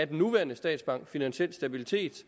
den nuværende statsbank finansiel stabilitet